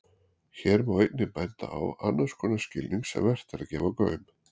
Hér má einnig benda á annars konar skilning sem vert er að gefa gaum.